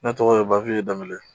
Ne tɔgɔ ye Bawiye danbɛle.